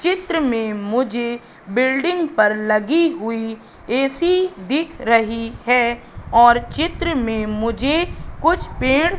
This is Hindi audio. चित्र में मुझे बिल्डिंग पर लगी हुई ऐ_सी दिख रही है और चित्र में मुझे कुछ पेड़--